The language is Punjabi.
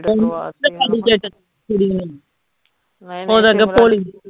ਓਦਾਂ ਗਪੋਲੀ